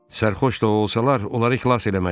Sərxoş da olsalar onları xilas eləməliyik.